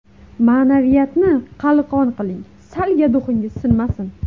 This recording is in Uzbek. Ma’naviyatni qalqon qiling, Salga duxingiz sinmasin.